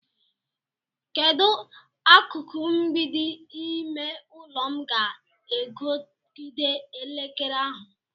Kedu akụkụ mgbidi ime ụlọ m ga-ekogide elekere ahụ?